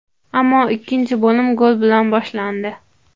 Ammo ikkinchi bo‘lim gol bilan boshlandi.